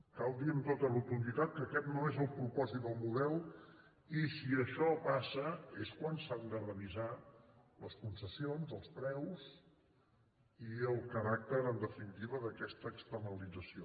cal dir amb tota rotunditat que aquest no és el propòsit del model i si això passa és quan s’han de revisar les concessions els preus i el caràcter en definitiva d’aquesta externalització